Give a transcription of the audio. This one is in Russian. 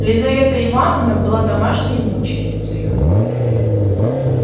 лизавета ивановна была домашней мученицею